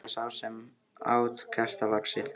Eins og sá sem át kertavaxið.